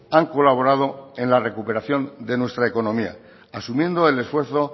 han colaborado en la recuperación de nuestra economía asumiendo el esfuerzo